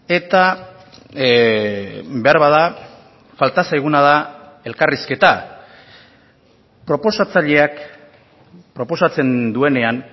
eta beharbada falta zaiguna da elkarrizketa proposatzaileak proposatzen duenean